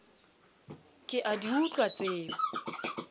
ke a di utlwa tseo